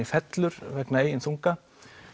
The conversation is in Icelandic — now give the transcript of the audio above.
fellur vegna eigin þunga